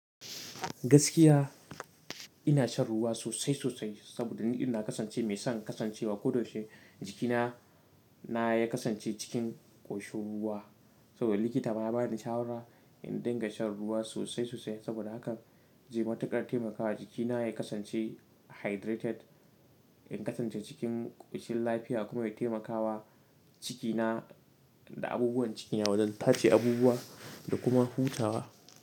Gaskiya ina shan ruwa sosai sosai saboda ni ɗin na kasance mai son kasancewa ko da yaushe jikina ya kasance cikin ƙoshin ruwa. Saboda likita ma ya bani shawara in dinga shan ruwa sosai sosai saboda hakan zai matuƙar taimakawa jikina ya kasance hydrated, ya kasance cikin ƙoshin lafiya kuma ya taimakawa cikina da abubuwan ciki na wajen tace abubuwa da kuma hutawa.